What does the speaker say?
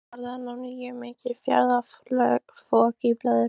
En nú varð enn á ný mikið fjaðrafok í blöðunum.